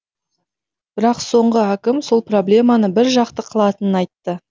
бірақ соңғы әкім сол проблеманы біржақты қылатынын айтты